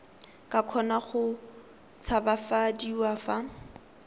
ka kgona go tshabafadiwa fa